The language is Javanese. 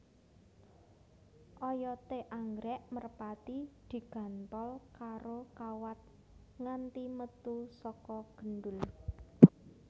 Oyoté anggrèk merpati diganthol karo kawat nganti metu saka gendul